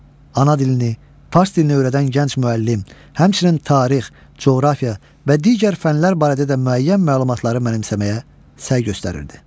Ana dilini, fars dilini öyrədən gənc müəllim, həmçinin tarix, coğrafiya və digər fənlər barədə də müəyyən məlumatları mənimsəməyə səy göstərirdi.